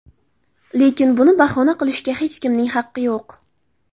Lekin, buni bahona qilishga hech kimning haqqi yo‘q.